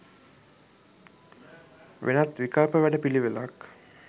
වෙනත් විකල්ප වැඩ පිළිවෙලක්